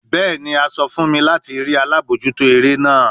Bẹẹni, a sọ fun mi lati rii alabojuto ere naa